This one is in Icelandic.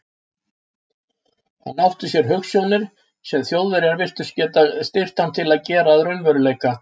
Hann átti sér hugsjónir, sem Þjóðverjar virtust geta styrkt hann til að gera að raunveruleika.